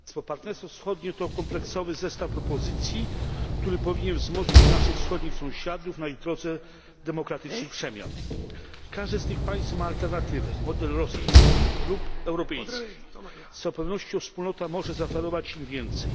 Panie przewodniczący! Partnerstwo wschodnie to kompleksowy zestaw propozycji, który powinien wzmocnić naszych wschodnich sąsiadów na ich drodze demokratycznych przemian. Każde z tych państw ma alternatywę model rosyjski lub europejski. Z całą pewnością wspólnota może zaoferować im więcej.